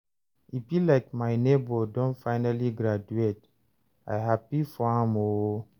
e be like my nebor don finally graduate, I happy for am o